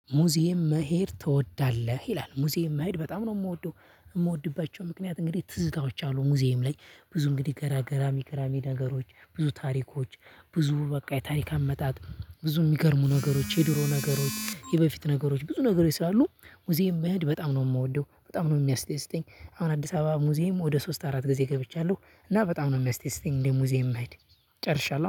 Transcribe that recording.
ሙዚየም መሄድ ትወዳለህ? ይላል ሙዚየም መሄድ በጣም ነው ምወደው እምወድባቸው ምክንያት እንግዲህ ትዝታዎች አሉ ሙዚየም ላይ ብዙ እንግዲህ ገራ ገራሚ ገራሚ ነገሮች ብዙ ታሪኮች ብዙ በቃ የታሪክ አመጣጥ ብዙ ሚገርሙ ነገሮች የድሮ ነገሮች የበፊት ነገሮች ብዙ ነገሮች ስላሉ ሙዚየም መሄድ በጣም ነው ምወደው በጣም ነው ሚያስደስተኝ። አሁን አዲስ አበባ ሙዚየም ወደ ሶስት አራት ጊዜ ገብቻለሁ እና በጣም ነው ሚያስደስተኝ እንደ ሙዚየም መሄድ ጨርሻለሁ